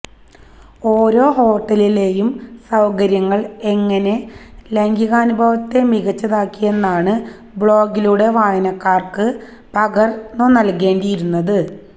ഓരോ ഹോട്ടലിലെയും സൌകര്യങ്ങള് എങ്ങനെ ലൈംഗികാനുഭവത്തെ മികച്ചതാക്കിയെന്നാണ് ബ്ലോഗിലൂടെ വായനക്കാര്ക്ക് പകര്ന്നുനല്കേണ്ടിയിരുന്നത്